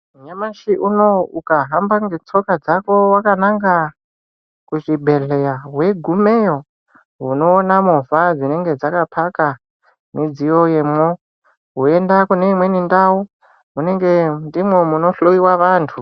Nyamashi unowu ukahamba ngetsoka dzako wakananga kuchibhedhleya, weigumeyo unoona movha dzinenge dzakaphaka midziyo yemwo. Woenda kune imweni ndau ,munenge ndimwo munohloiwa vantu.